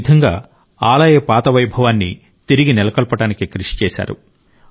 ఆ విధంగా ఆలయ పాత వైభవాన్ని తిరిగి నెలకొల్పడానికి కృషి చేశారు